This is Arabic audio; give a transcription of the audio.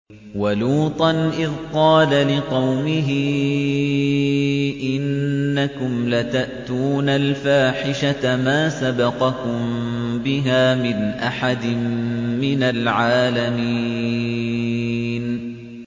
وَلُوطًا إِذْ قَالَ لِقَوْمِهِ إِنَّكُمْ لَتَأْتُونَ الْفَاحِشَةَ مَا سَبَقَكُم بِهَا مِنْ أَحَدٍ مِّنَ الْعَالَمِينَ